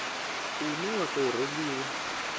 une wa u tou rengiwa